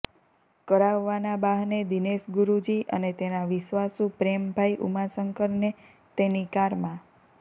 કરાવવાના બહાને દિનેશ ગુરૃજી અને તેના વિશ્વાસુ પ્રેમભાઇ ઉમાશંકરને તેની કારમાં